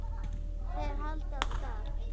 Þeir halda af stað.